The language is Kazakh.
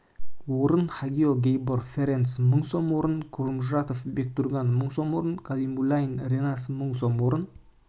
орын хагио гейбор ференс мың сом орын кожомуратов бектурган мың сом орын каллимулин ренас мың сом